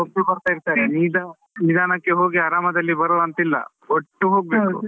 ಹೋಗ್ತಾ ಬರ್ತಾ ಇರ್ತರೆ ನಿದಾನಕ್ಕೆ ಹೋಗಿ ಆರಾಮಾಗಿ ಬರುವ ಅಂತ ಇಲ್ಲ, ಹೋಗ್ಬೇಕು.